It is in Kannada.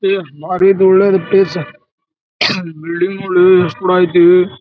ಏ ಬಾರಿ ದೋಳ್ ಐತಿ ಸೆರ್ಸ್ ಬಿಲ್ಡಿಂಗ್ ನೋಡು ಯೆಸ್ಟ್ ದೋಳ್ ಆಯ್ತಿ.